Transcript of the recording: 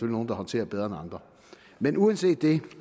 nogle der håndterer bedre end andre men uanset det